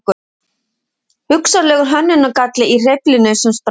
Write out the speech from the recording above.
Hugsanlegur hönnunargalli í hreyflinum sem sprakk